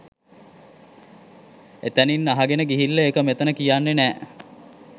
එතැනින් අහගෙන ගිහිල්ලා ඒක මෙතැන කියන්නේ නෑ